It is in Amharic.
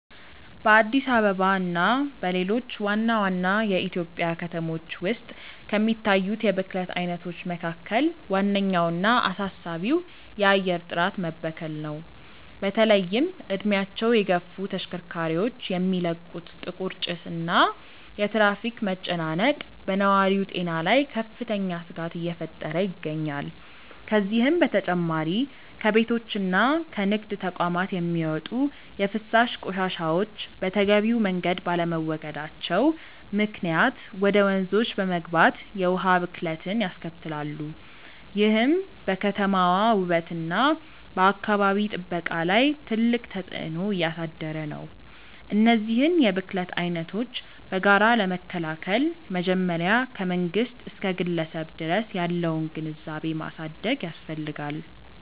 በአዲስ አበባ እና በሌሎች ዋና ዋና የኢትዮጵያ ከተሞች ውስጥ ከሚታዩት የብክለት አይነቶች መካከል ዋነኛውና አሳሳቢው የአየር ጥራት መበከል ነው። በተለይም እድሜያቸው የገፉ ተሽከርካሪዎች የሚለቁት ጥቁር ጭስ እና የትራፊክ መጨናነቅ በነዋሪው ጤና ላይ ከፍተኛ ስጋት እየፈጠረ ይገኛል። ከዚህም በተጨማሪ ከቤቶችና ከንግድ ተቋማት የሚወጡ የፍሳሽ ቆሻሻዎች በተገቢው መንገድ ባለመወገዳቸው ምክንያት ወደ ወንዞች በመግባት የውሃ ብክለትን ያስከትላሉ፤ ይህም በከተማዋ ውበትና በአካባቢ ጥበቃ ላይ ትልቅ ተጽዕኖ እያሳደረ ነው። እነዚህን የብክለት አይነቶች በጋራ ለመከላከል መጀመሪያ ከመንግስት እስከ ግለሰብ ድረስ ያለውን ግንዛቤ ማሳደግ ያስፈልጋል።